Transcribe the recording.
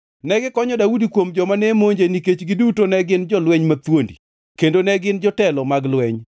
Negikonyo Daudi kuom joma ne monje nikech giduto ne gin jolweny mathuondi, kendo ne gin jotelo mag lweny.